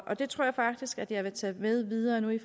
det tror jeg faktisk at jeg vil tage med videre i